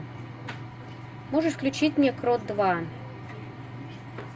можешь включить мне крот два